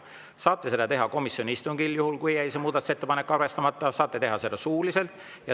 Saate seda teha komisjoni istungil, juhul kui see muudatusettepanek jäi arvestamata, saate teha seda suuliselt.